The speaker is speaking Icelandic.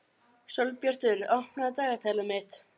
Sólbjartur, opnaðu dagatalið mitt.